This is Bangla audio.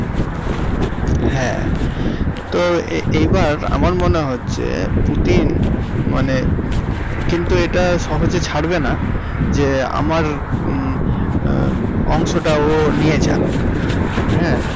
হ্যাঁ তো এই বার আমার মনে হচ্ছে পুটিন মানে কিন্তু এটা সহজে ছাড়বেনা যে আমার হুম হমমম অংশ টা ও নিয়ে যাক।